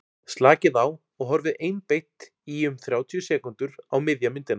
slakið á og horfið einbeitt í um þrjátíu sekúndur á miðja myndina